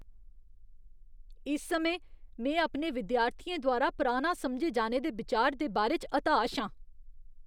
इस समें, में अपने विद्यार्थियें द्वारा पराना समझे जाने दे बिचार दे बारे च हताश आं।